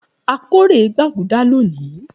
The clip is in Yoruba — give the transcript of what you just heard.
A kórè gbaguda loni.